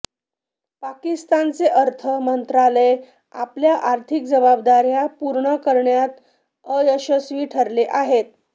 पाकिस्तानचे अर्थ मंत्रालय आपल्या आर्थिक जबाबदाऱया पूर्ण करण्यात अयशस्वी ठरले आहे